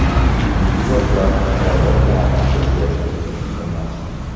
Bugungi gaplar, Murojaatnoma ko‘rgazma uchun emas.